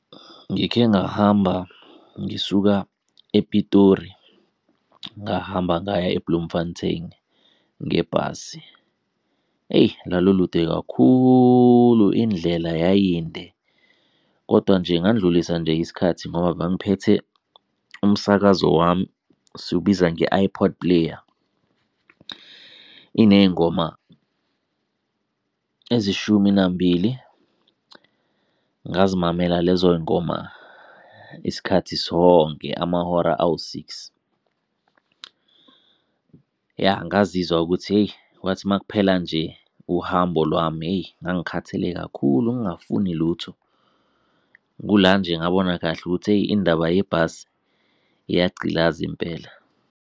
Ngikhe ngahamba ngisuka ePitori, ngahamba ngaya eBloemfontein ngebhasi. Eyi, lalu lude kakhulu, indlela yayinde kodwa nje ngandlulisa nje isikhathi ngoba bangiphethe umsakazo wami, siwubiza nge-iPod player. Iney'ngoma ezishumi nambili, ngazimamela lezo y'ngoma isikhathi sonke amahora awu-six. Ya, ngazizwa ukuthi hheyi, kwathi makuphela nje uhambo lwami hheyi, ngangikhathele kakhulu ngingafuni lutho. Kula nje ngabona kahle ukuthi hheyi, indaba yebhasi iyagcilaza impela.